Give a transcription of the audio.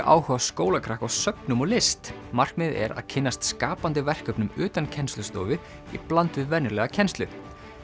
áhuga skólakrakka á söfnum og list markmiðið er að kynnast skapandi verkefnum utan kennslustofu í bland við venjulega kennslu